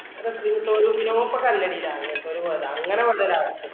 ഇപ്പം ring tone ഇനോ അങ്ങനത്തെ ഒരു അങ്ങനേം ഉണ്ട് ഓരോ Apps